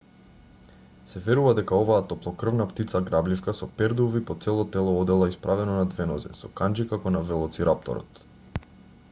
се верува дека оваа топлокрвна птица-грабливка со пердуви по цело тело одела исправено на две нозе со канџи како на велоцирапторот